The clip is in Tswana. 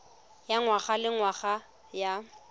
ya ngwaga le ngwaga ya